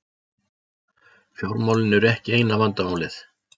Fjármálin eru ekki eina vandamálið.